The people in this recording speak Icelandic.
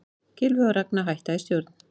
Gylfi og Ragna hætta í stjórn